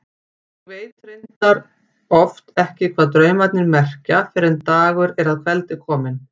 Ég veit reyndar oft ekki hvað draumarnir merkja fyrr en dagur er að kveldi kominn.